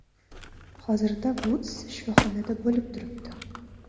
Hozirda Vuds shifoxonada bo‘lib turibdi.